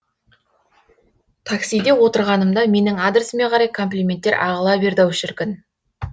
таксиде отырғанымда менің адресіме қарай комплименттер ағыла берді ау шіркін